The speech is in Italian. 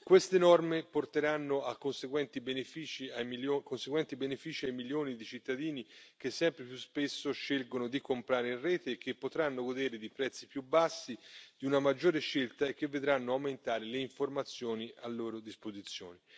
Queste norme porteranno conseguenti benefici ai milioni di cittadini che sempre più spesso scelgono di comprare in rete e che potranno godere di prezzi più bassi, di una maggiore scelta e che vedranno aumentare le informazioni a loro disposizione.